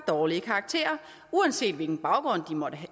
dårlige karakterer uanset hvilken baggrund de måtte